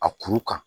A kuru kan